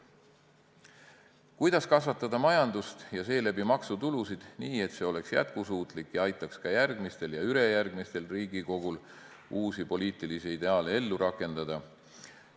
Kuidas kasvatada majandust ja seeläbi maksutulusid nii, et see oleks jätkusuutlik ja aitaks ka järgmisel ja ülejärgmisel Riigikogul uusi poliitilisi ideaale ellu rakendada?